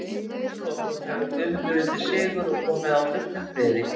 Að sögulokum hefur Guðmundur unnið sigur og komið á fullum friði.